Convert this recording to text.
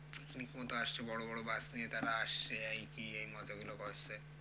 picnic মতো আসছে বড়ো বড়ো bus নিয়ে তারা আসছে এই কি এই মজাগুলো করছে।